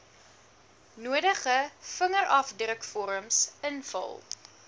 nodige vingerafdrukvorms invul